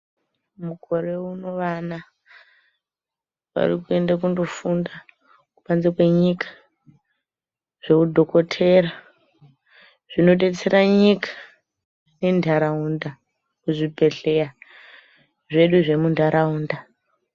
Mukore uno vana vari kuende kundo funda kunze kwe nyika zve udhokotera zvino detsera nyika ne ndaraunda zvi bhedhleya zvedu zvemu ndaraunda.